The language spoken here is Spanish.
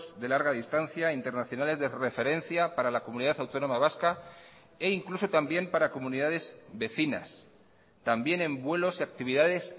de larga distancia internacionales de referencia para la comunidad autónoma vasca e incluso también para comunidades vecinas también en vuelos y actividades